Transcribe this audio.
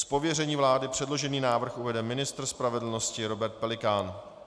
Z pověření vlády předložený návrh uvede ministr spravedlnosti Robert Pelikán.